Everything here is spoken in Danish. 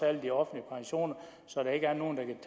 alle de offentlige pensioner så der ikke er nogen